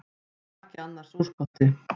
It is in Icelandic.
Hún á ekki annars úrkosti.